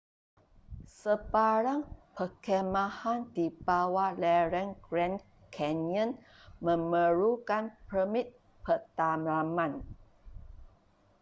sebarang perkhemahan di bawah lereng grand canyon memerlukan permit pedalaman